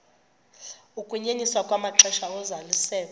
ukunyenyiswa kwamaxesha ozalisekiso